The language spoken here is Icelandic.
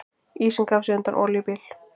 Ísinn gaf sig undan olíubíl